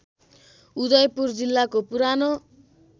उदयपुर जिल्लाको पुरानो